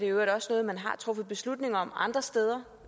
øvrigt også noget man har truffet beslutning om andre steder